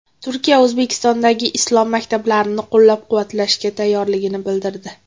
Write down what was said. Turkiya O‘zbekistondagi islom maktablarini qo‘llab-quvvatlashga tayyorligini bildirdi.